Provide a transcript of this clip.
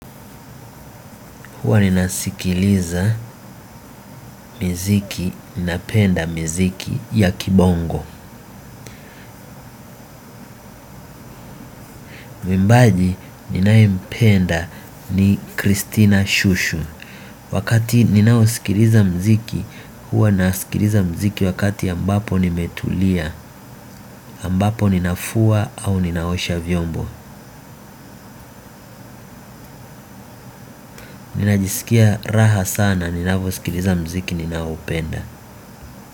Uwa ninasikiliza miziki, ninapenda miziki ya kibongo. Mwimbaji ninaye mpenda ni Kristina Shusho. Wakati ninaosikiliza mziki, huwa naskiliza mziki wakati ambapo nimetulia ambapo ninafua au ninaosha vyombo ninajiskia raha sana ninaposikiliza mziki ninaopenda.